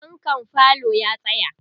fankan falo ya tsaya